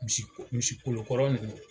Misikolo kɔrɔ nunnu